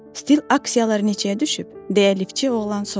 Stil aksiyaları neçəyə düşüb, deyə liftçi oğlan soruşdu.